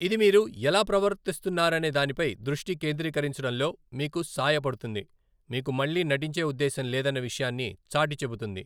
ఇది మీరు ఎలా ప్రవర్తిస్తున్నారనే దానిపై దృష్టి కేంద్రీకరించడంలో మీకు సాయపడుతుంది, మీకు మళ్లీ నటించే ఉద్దేశం లేదన్న విషయాన్ని చాటిచెబుతుంది.